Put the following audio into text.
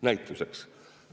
Näituseks.